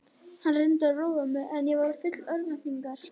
Hann reyndi að róa mig en ég var full örvæntingar.